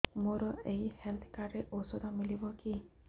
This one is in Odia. ମୋର ଏଇ ହେଲ୍ଥ କାର୍ଡ ରେ ଔଷଧ ମିଳିବ କି